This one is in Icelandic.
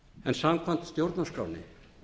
en samkvæmt stjórnarskránni